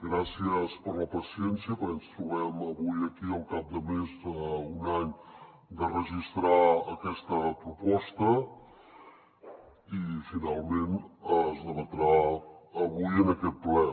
gràcies per la paciència perquè ens trobem avui aquí al cap de més d’un any de registrar aquesta proposta i finalment es debatrà avui en aquest ple